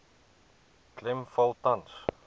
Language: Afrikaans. klem val tans